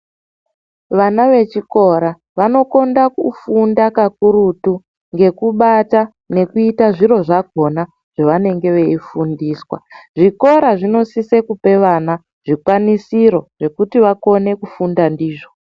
Vana vechikora vanokonda kufunda kakurutu ngekubata ngekuita zviro zvakona zvavanenge veifundiswa. Zvikora zvinosise kupa vana zvikwanisiro zvekuti vakone kufunda ndizvo.